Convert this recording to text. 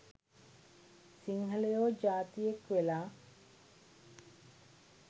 සිංහලයො ජාතියෙක් වෙලා